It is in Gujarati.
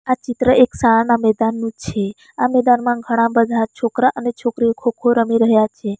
આ ચિત્ર એક શાળાના મેદાનનુ છે આ મેદાનમાં ઘણા બધા છોકરા અને છોકરીઓ ખોખો રમી રહ્યા છે.